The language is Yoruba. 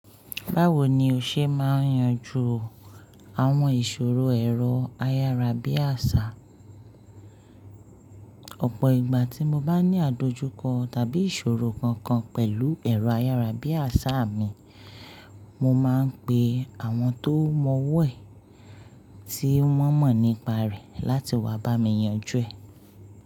Báwo ni o ṣe máa ń yanjú àwọn ìṣòro ẹ̀rọ-ayárabíàsá? Ọ̀pọ̀ ìgbà tí mo bá ní àdojúkọ tàbí ìṣòro kankan pẹ̀lú ẹ̀rọ-ayárabíàsá mi, mo máa ń pe àwọn tó mọ wọ́ ẹ̀ tí wọ́n mọ̀ nípa rẹ̀ láti wá bá mi yanjú ẹ̀